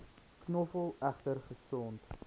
knoffel egter gesond